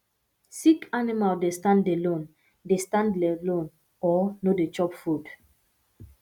sick animal dey stand alone dey stand alone or no dey chop food